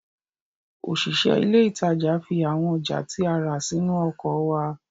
Òṣìṣẹ́ ilé ìtajà fi àwọn ọjà tí a rà sínú ọkọ̀ wa